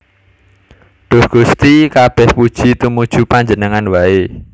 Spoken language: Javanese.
Duh Gusti kabèh puji tumuju Panjenengan waé